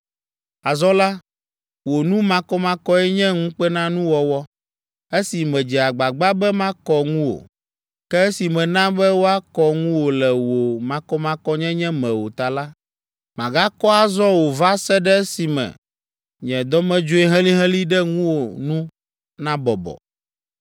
“ ‘Azɔ la, wò nu makɔmakɔe nye ŋukpenanuwɔwɔ. Esi medze agbagba be makɔ ŋuwò, ke esi mèna be woakɔ ŋuwò le wò makɔmakɔnyenye me o ta la, màgakɔ azɔ o va se ɖe esime nye dɔmedzoe helĩhelĩ ɖe ŋuwò nu nabɔbɔ.